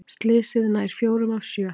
Slysið nær fjórum af sjö